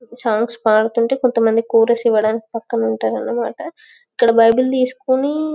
songs పాడుతుంటే కొంత మంది కోరస్ ఇవ్వడానికి పక్కనుంటారనిమాట ఇక్కడ బైబిల్ తీసుకుని--